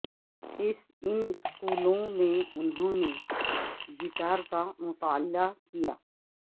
ان سکولوں میں انہوں نے گٹار کا مطالعہ کیا